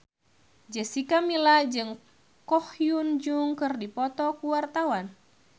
Jessica Milla jeung Ko Hyun Jung keur dipoto ku wartawan